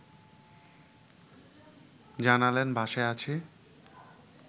জানালেন বাসায় আছি